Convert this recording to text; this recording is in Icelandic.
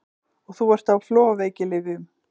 Og þú ert á flogaveikilyfjum!